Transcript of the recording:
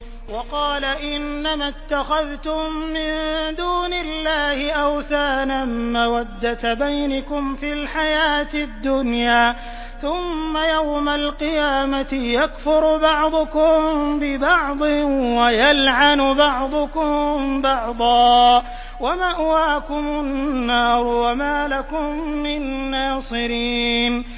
وَقَالَ إِنَّمَا اتَّخَذْتُم مِّن دُونِ اللَّهِ أَوْثَانًا مَّوَدَّةَ بَيْنِكُمْ فِي الْحَيَاةِ الدُّنْيَا ۖ ثُمَّ يَوْمَ الْقِيَامَةِ يَكْفُرُ بَعْضُكُم بِبَعْضٍ وَيَلْعَنُ بَعْضُكُم بَعْضًا وَمَأْوَاكُمُ النَّارُ وَمَا لَكُم مِّن نَّاصِرِينَ